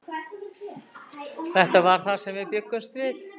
Þetta var það sem við bjuggumst við.